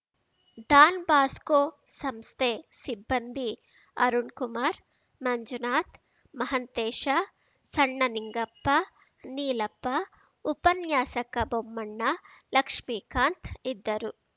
Don Bosco ಸಂಸ್ಥೆ ಸಿಬ್ಬಂದಿ ಅರುಣ್‌ಕುಮಾರ್‌ ಮಂಜುನಾಥ್ ಮಹಂತೇಶ ಸಣ್ಣನಿಂಗಪ್ಪ ನೀಲಪ್ಪ ಉಪನ್ಯಾಸಕ ಬೊಮ್ಮಣ್ಣ ಲಕ್ಷ್ಮೀಕಾಂತ್‌ ಇದ್ದರು